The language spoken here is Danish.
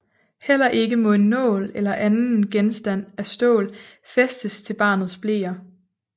Heller ikke må en nål eller anden genstand af stål fæstes til barnets bleer